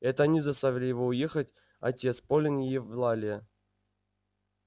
это они заставили его уехать отец полин и евлалия